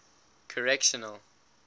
correctional